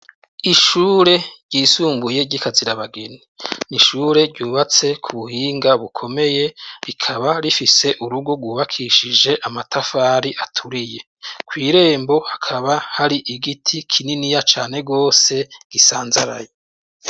Ishure ryisumbuye ry’ikazirabageni n’ishure ryubatse kubuhinga bukomeye, rikaba rifise urugo ryubakishije amatafari aturiye kw’irembo, hakaba hari igiti kininiya cane gose gisanzaraye.